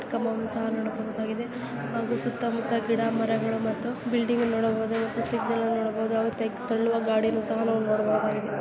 ಕಂಬವನ್ನು ಸಹ ನೋಡಬಹುದಾಗಿದೆ ಹಾಗೂ ಸುತ್ತಮುತ್ತ ಗಿಡ ಮರಗಳು ಮತ್ತು ಬಿಲ್ಡಿಂಗ್ ನೋಡಬಹುದಾಗಿದೆ. ಸಿಗ್ನಲ್ ನೋಡಬಹುದು ಹಾಗೆ ತಳ್ಳುವ ಗಾಡಿ ಸಹ ನೋಡಬಹುದು.